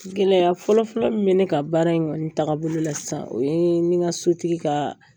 Gɛlɛya fɔlɔ-fɔlɔ min bɛ kan baara in kɔni tagabolo la sisan o ye n ni n ka sotigi ka